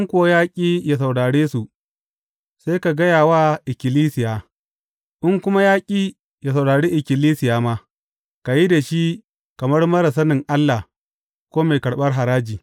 In kuwa ya ƙi yă saurare su, sai ka gaya wa ikkilisiya; in kuma ya ƙi yă saurari ikkilisiya ma, ka yi da shi kamar marar sanin Allah ko mai karɓar haraji.